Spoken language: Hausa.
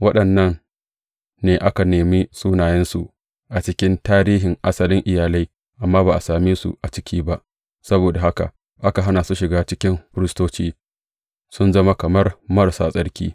Waɗannan ne aka nemi sunayensu a cikin tarihin asalin iyalai, amma ba a same su a ciki ba, saboda haka aka hana su shiga cikin firistoci, sun zama kamar marasa tsarki.